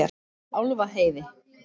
Álfaheiði